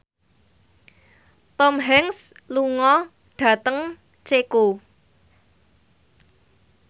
Tom Hanks lunga dhateng Ceko